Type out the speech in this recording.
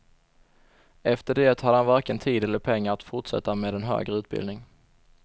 Efter det hade han varken tid eller pengar att fortsätta med en högre utbildning.